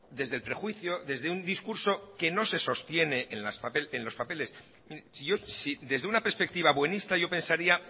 desde el prejuicio desde un discurso que no se sostiene en los papeles si desde una perspectiva buenista yo pensaría